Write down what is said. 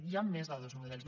hi han més de dos models